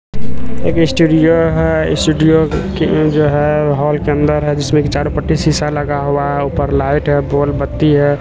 एक स्टूडियो है स्टूडियो की जो है हॉल के अंदर है जिसमें कि चार पट्टी शीशा लगा हुआ है ऊपर लाइट है बोल बत्ती है।